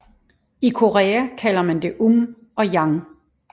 I Korea kalder man det Um og Yang